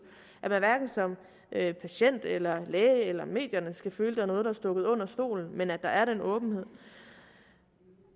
at hverken patienter eller læger eller medier skal føle er noget der er stukket under stolen men at der er den åbenhed